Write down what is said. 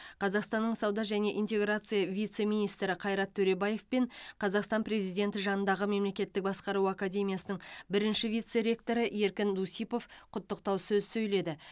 қазақстанның сауда және интеграция вице министрі қайрат төребаев пен қазақстан президенті жанындағы мемлекеттік басқару академиясының бірінші вице ректоры еркін дусипов құттықтау сөз сөйледі